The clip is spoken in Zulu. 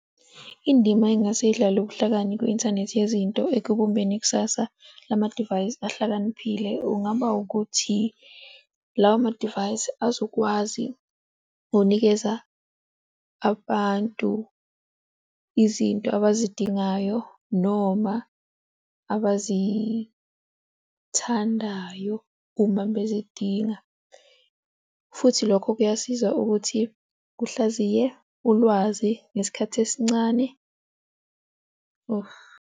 Indima engase izidlalwe ubuhlakani kwi-inthanethi yezinto ekubumbeni ikusasa lama divayisi ahlakaniphile, kungaba ukuthi lawo madivayisi azokwazi ngokunikeza abantu izinto abazidingayo noma abazithandayo uma bezidinga futhi lokho kuyasiza ukuthi kuhlaziye ulwazi ngesikhathi esincane. Ohmp.